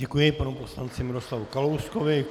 Děkuji panu poslanci Miroslavu Kalouskovi.